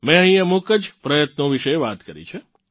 મેં અહીં અમુક જ પ્રયત્નો વિશે વાત કરી છે